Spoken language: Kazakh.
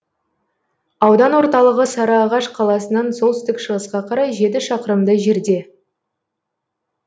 аудан орталығы сарыағаш қаласынан солтүстік шығысқа қарай жеті шақырымдай жерде